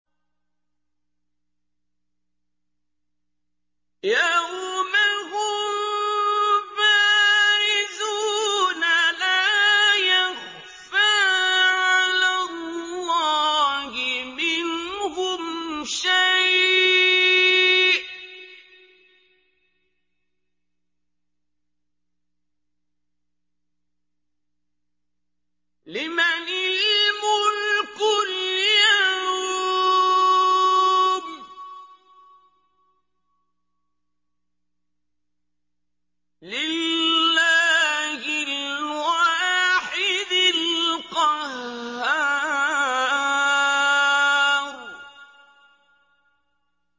يَوْمَ هُم بَارِزُونَ ۖ لَا يَخْفَىٰ عَلَى اللَّهِ مِنْهُمْ شَيْءٌ ۚ لِّمَنِ الْمُلْكُ الْيَوْمَ ۖ لِلَّهِ الْوَاحِدِ الْقَهَّارِ